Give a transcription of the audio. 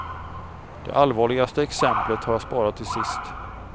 Det allvarligaste exemplet har jag sparat till sist.